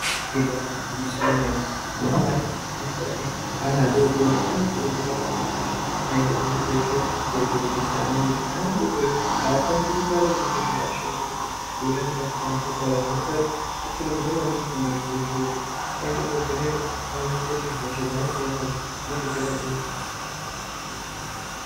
Ibari gwinyiso yemene anamai anenge ane ana adodori anokurudzirwa maningi kuti aende kuzvibhedhlera kovhenekesa ana nekuti ana adodori aakwanisi kutaura zvinenge zveiashungurudza ngekuti anenge asingakwanisi kutaura zvinoita kuti akurudzirwe maningi kuenda kuchibhedhlera kuti aende kovhenekwa aonekwe kuti hosha dzavanenge ainadzo dzinenge dzakadini.